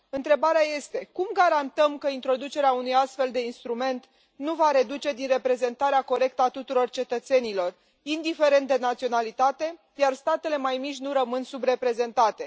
Întrebarea este cum garantăm că introducerea unui astfel de instrument nu va reduce din reprezentarea corectă a tuturor cetățenilor, indiferent de naționalitate, iar statele mai mici nu rămân subreprezentate?